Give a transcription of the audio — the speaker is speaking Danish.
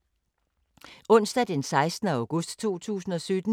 Onsdag d. 16. august 2017